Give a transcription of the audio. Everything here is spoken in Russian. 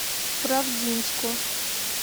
правдинску